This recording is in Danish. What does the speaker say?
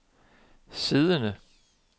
siddende